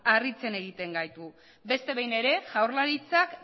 harritzen gaitu beste behin ere jaurlaritzak